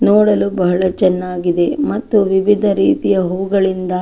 ನೋಡಲು ಬಹಳ ಚೆನ್ನಾಗಿ ಇದೆ ಮತ್ತು ವಿವಿಧ ರೀತಿಯ ಹೂಗಳಿಂದ --